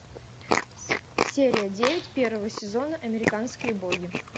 серия девять первого сезона американские боги